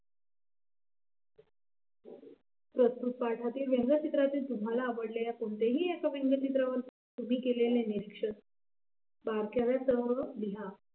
प्रस्तुत पाठातील व्यंगचित्राचे तुम्हाला आवडलेल्या कोणत्याही एका व्यंगचित्रावर तुम्ही केलेले निरीक्षण बारक्यावर सह लिहा.